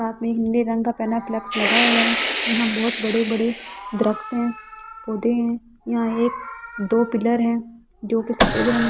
साथ में हिन्दी रंग का प्लेन फ्लेक्स लगा हुआ है यहां बहुत बड़े बड़े दरख्त हैं पौधे हैं यहां एक दो पिलर हैं जो के सफेद रंग --